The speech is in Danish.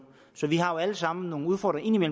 så vi har alle sammen nogle udfordringer